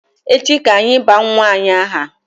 Echi ka anyị baa nwa ànyị aha